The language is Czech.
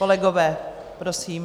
Kolegové, prosím.